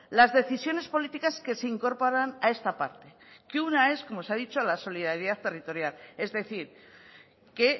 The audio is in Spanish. las decisiones políticas que se incorporan a esta parte que una es como se ha dicho la solidaridad territorial es decir que